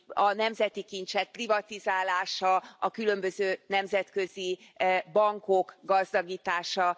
a nemzeti kincsek privatizálása, a különböző nemzetközi bankok gazdagítása.